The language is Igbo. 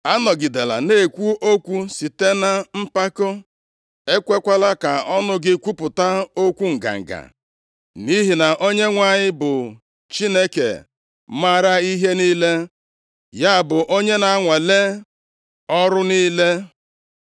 “Anọgidela na-ekwu okwu site na mpako, ekwekwala ka ọnụ gị kwupụta okwu nganga. Nʼihi na Onyenwe anyị bụ Chineke maara ihe niile, ya bụ onye na-anwale ọrụ niile.